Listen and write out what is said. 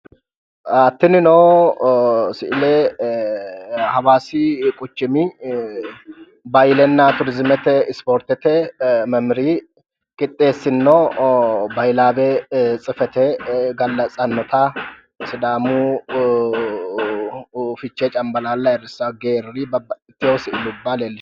Tinino si"ile hawaasi quchumi bahiilenna turiziimete ispoortete memmeriyi qixxeessinno bahiilaawe tsifate gallatsanno sidaamu fichee cambalaalla ayirrissanno geerri babbaxxitiwo si"ilubba leellishshanno.